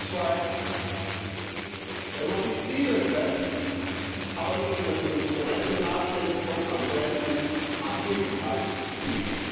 Zweitens Wenn man sich Ziele setzt, aber nicht über die Instrumente nachdenkt, kommt man selten ans Ziel.